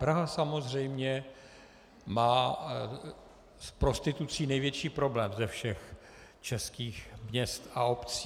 Praha samozřejmě má v prostituci největší problém ze všech českých měst a obcí.